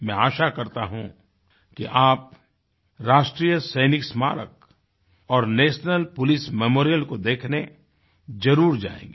मैं आशा करता हूँ कि आप राष्ट्रीय सैनिक स्मारक और नेशनल पोलिस मेमोरियल को देखने जरुर जायेंगे